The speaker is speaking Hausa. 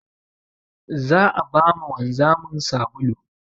Za a ba ma wanzamin sabulu.